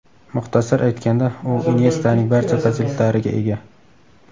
Muxtasar aytganda u Inyestaning barcha fazilatlariga ega.